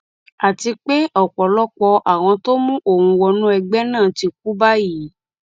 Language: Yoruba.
àti pé ọpọlọpọ àwọn tó mú òun wọnú ẹgbẹ náà ti kú báyìí